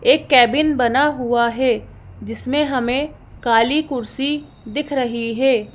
एक केबिन बना हुआ है जिसमें हमें काली कुर्सी दिख रही है।